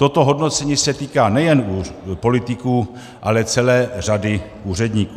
Toto hodnocení se týká nejen politiků, ale celé řady úředníků.